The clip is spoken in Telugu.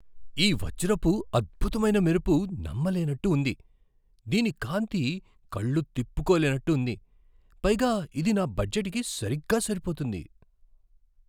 ఈ వజ్రపు అద్భుతమైన మెరుపు నమ్మలేనట్టు ఉంది! దీని కాంతి కళ్ళు తిప్పుకోలేనట్టు ఉంది, పైగా ఇది నా బడ్జెట్కి సరిగ్గా సరిపోతుంది.